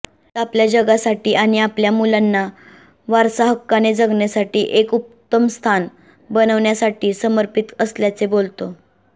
गीत आपल्या जगासाठी आणि आपल्या मुलांना वारसाहक्काने जगण्यासाठी एक उत्तम स्थान बनवण्यासाठी समर्पित असल्याचे बोलतो